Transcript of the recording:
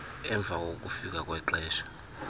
emva kokufika kwexesha